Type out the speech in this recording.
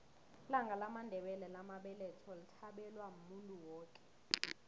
ilanga lamandela lamabeletho lithabelwa muntu woke